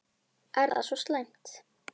Er það svo slæmt?